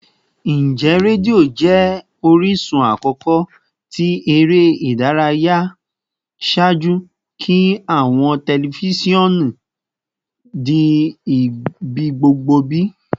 Njẹ redio jẹ orisun akọkọ ti ere idaraya ṣaaju ki awọn tẹlifisiọnu di ibigbogbo bi?